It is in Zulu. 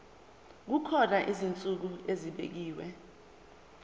kukhona izinsuku ezibekiwe